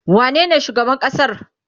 wane ne shugaban ƙasar?